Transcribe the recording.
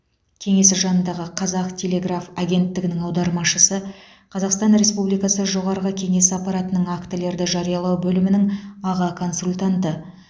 кеңесі жанындағы қазақ телеграф агенттігінің аудармашысы қазақстан республикасы жоғарғы кеңесі аппаратының актілерді жариялау бөлімінің аға консультанты